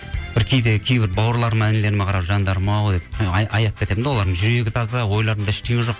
бір кейде кейбір бауырларыма інілеріме қарап жандарым ау деп аяп кетемін де олардың жүрегі таза ойларында ештеңе жоқ